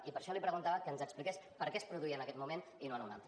i per això li preguntava que ens expliqués per què es produïa en aquest moment i no en un altre